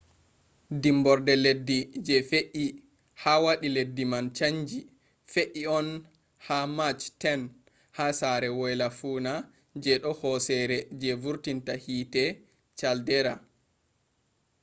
dimborde leddi je fe’i ha wadi leddi man chanji fe’i on ha march 10 ha sere woyla-fuuna je do hosere je vurtinta hiite caldera